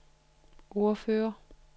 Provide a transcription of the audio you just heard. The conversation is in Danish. ordfører